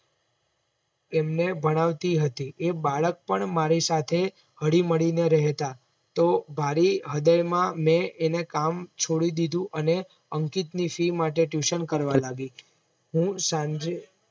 એમને ભણાવતી હતી એ બાળક પણ મારી સાથે હળી મળી ને રહેતા તો ભારી હડેમાં મેં એને કામ છોડી દીધું અને અંકિતની ફી માટે Tuition કરવા લાગી હું સાંજે